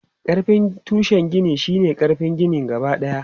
Ƙarfin tushen gini shi ne ƙarfin ginin gabadaya.